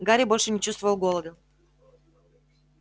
гарри больше не чувствовал голода